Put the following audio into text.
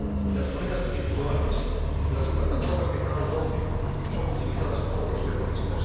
Las monedas virtuales, las plataformas de crowdfundig son utilizadas por los terroristas.